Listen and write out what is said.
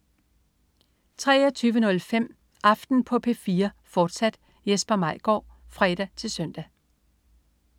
23.05 Aften på P4, fortsat. Jesper Maigaard (fre-søn)